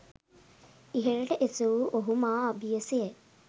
ඉහළට එසවූ ඔහු මා අබියස ය.